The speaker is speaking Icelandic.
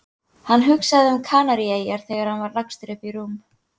Hann hugsaði um Kanaríeyjar þegar hann var lagstur upp í rúm.